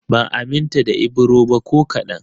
Ban aminta da Ibro ba ko kaɗan